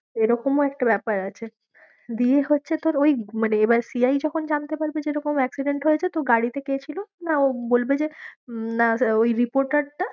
এরকমও একটা ব্যাপার আছে দিয়ে হচ্ছে তোর ওই মানে এবার CI যখন জানতে পারবে যে এরকম accident হয়েছে তো গাড়িতে কে ছিল? না ও বলবে যে হম না ওই reporter টা